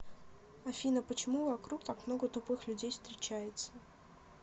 афина почему вокруг так много тупых людей встречается